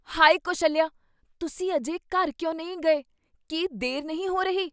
ਹਾਇ ਕੌਸ਼ੱਲਿਆ, ਤੁਸੀਂ ਅਜੇ ਘਰ ਕਿਉਂ ਨਹੀਂ ਗਏ? ਕੀ ਦੇਰ ਨਹੀਂ ਹੋ ਰਹੀ?